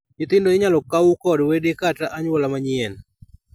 Nyithindo inyal kawu kod wede kata, anyuola manyien.